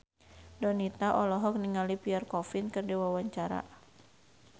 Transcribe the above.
Donita olohok ningali Pierre Coffin keur diwawancara